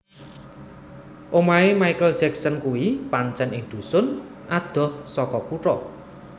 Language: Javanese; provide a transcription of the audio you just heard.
Omahe Michael Jackson kuwi pancen ing dhusun adoh saka kutha